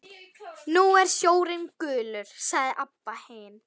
Nú er sjórinn gulur, sagði Abba hin.